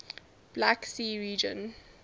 black sea region